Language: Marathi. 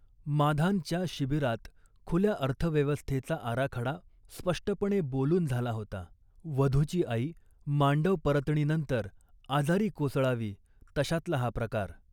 माधान'च्या शिबिरात खुल्या अर्थव्यवस्थेचा आराखडा स्पष्टपणे बोलून झाला होता. वधूची आई मांडवपरतणीनंतर आजारी कोसळावी तशातला हा प्रकार